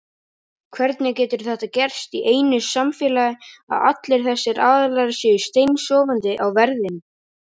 Hvernig getur þetta gerst í einu samfélagi að allir þessir aðilar séu steinsofandi á verðinum?